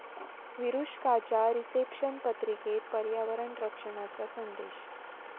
विरुष्काच्या reception पत्रिकेत पर्यावरण रक्षणाचा संदेश